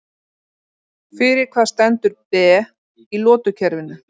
Fyrir hvað stendur Be í lotukerfinu?